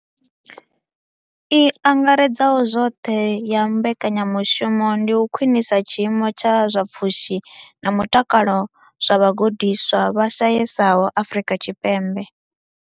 I angaredzaho zwoṱhe ya mbekanyamushumo ndi u khwinisa tshiimo tsha zwa pfushi na mutakalo zwa vhagudiswa vha shayesaho Afrika Tshipembe.